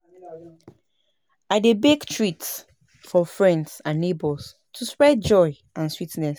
I dey bake treats for friends and neighbors to spread joy and sweetness.